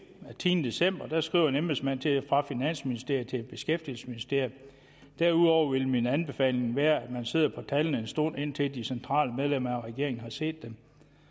af tiende december skriver en embedsmand fra finansministeriet til beskæftigelsesministeriet derudover vil min anbefaling være at man sidder på tallene en stund indtil de centrale medlemmer af regeringen har set dem